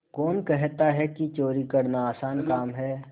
कौन कहता है कि चोरी करना आसान काम है